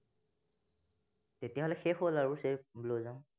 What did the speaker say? তেতিয়া হলে শেষ হল cherry blossom